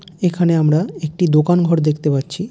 এখানে আমরা একটি দোকান ঘর দেখতে পাচ্ছি ।